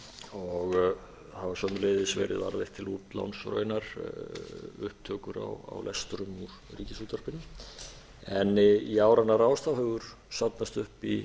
og hafa sömuleiðis verið varðveitt til útláns og raunar upptökur á lestrum úr ríkisútvarpinu en í áranna rás hefur safnast upp í